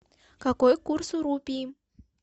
какой курс у рупии